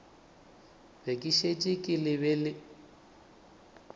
be ke šetše ke lebet